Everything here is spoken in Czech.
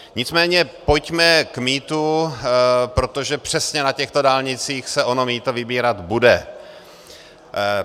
Nicméně pojďme k mýtu, protože přesně na těchto dálnicích se ono mýto vybírat bude.